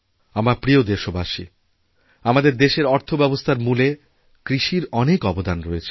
আমার প্রিয় দেশবাসী আমাদের দেশের অর্থব্যবস্থারমূলে কৃষির অনেক অবদান রয়েছে